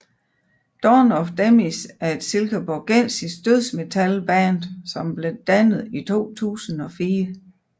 Dawn of Demise er et silkeborgensisk dødsmetalband som blev dannet i 2004